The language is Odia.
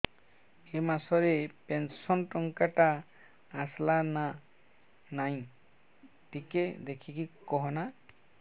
ଏ ମାସ ରେ ପେନସନ ଟଙ୍କା ଟା ଆସଲା ନା ନାଇଁ ଟିକେ ଦେଖିକି କହନା